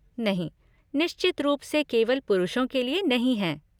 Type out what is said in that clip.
नहीं, निश्चित रूप से केवल पुरुषों के लिए नहीं हैं।